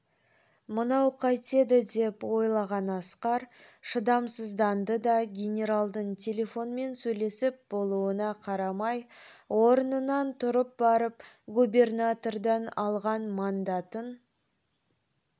мынау қайтеді деп ойлаған асқар шыдамсызданды да генералдың телефонмен сөйлесіп болуына қарамай орнынан тұрып барып губернатордан алған мандатын